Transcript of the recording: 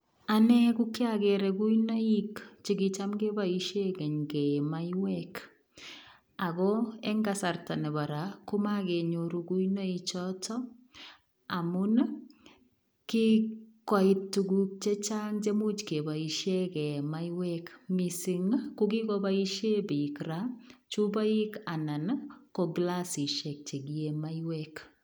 Anee kokiokeree kuinoik chekicham keboishen keny keyee maiywek ako en kasarta nebo raa komokenyoru kuinoichoton amun kikoit tuguk chechang chemuch keboishen keyee maiyek misink kokikoboishen bik raa chupoik anan ko kilasishek chekiyee maiyek.